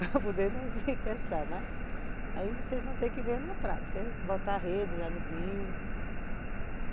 Para poder nós ir pescar, mas aí vocês vão ter que ver na prática, botar a rede lá no rio.